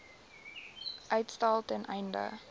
uitstel ten einde